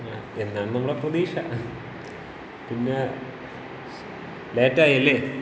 എന്നാണ് നമ്മടെ പ്രതീക്ഷ. പിന്നെ ലേറ്റായി അല്ലേ?